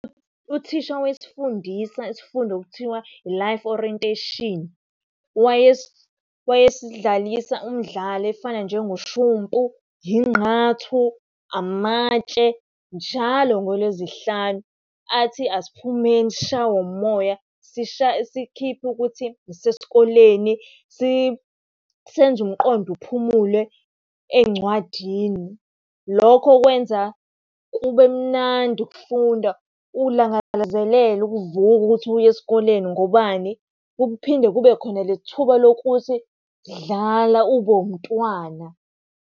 Uthisha owayesifundisa isifundo okuthiwa i-Life Orientation, wayesidlalisa umdlalo efana njengoshumpu, ingqathu, amatshe njalo ngolwezihlanu. Athi asiphumeni sishawe umoya, sikhiphe ukuthi sisesikoleni, senze umqondo uphumule ey'ncwadini. Lokho kwenza kube mnandi ukufunda, ulangazelele ukuvuka ukuthi uye esikoleni ngobani. Kuphinde kube khona leli thuba lokuthi dlala ube wumntwana.